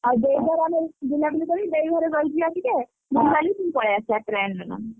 ଆଉ ଦେଇ ଆମେ ବୁଲାବୁଲି କରିକି ଦେଇ ଘରେ ରହିଯିବା ଟିକେ ବୁଲିବାଲି ପୁଣି ପଳେଇଆସିବା train ରେ ।